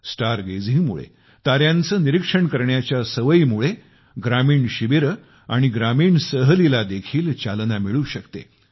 star गेझिंगमुळेताऱ्यांचे निरीक्षण करण्याच्या सवयीमुळे ग्रामीण शिबिरे आणि ग्रामीण सहलीला देखील चालना मिळू शकते